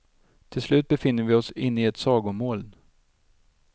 Till slut befinner vi oss inne i ett sagomoln.